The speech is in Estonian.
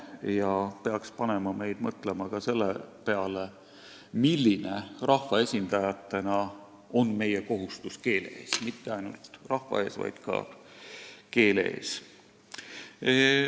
Ning me peaksime mõtlema ka selle peale, milline on meie kui rahvaesindajate kohustus keele ees – mitte ainult rahva ees, vaid ka keele ees.